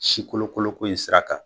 Si kolon koloko in sira kan